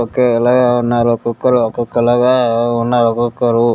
ఒకేలాగ ఉన్నారు ఒక్కొక్కరు ఒక్కొక్క లాగ ఉన్నారు ఒక్కొక్కరు --